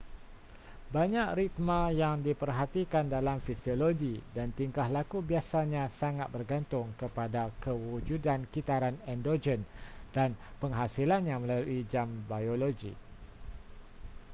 banyak ritma yang diperhatikan dalam fisiologi dan tingkah laku biasanya sangat bergantung kepada kewujudan kitaran endogen dan penghasilannya melalui jam biologi